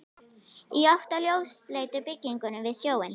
Í átt að ljósleitu byggingunni við sjóinn.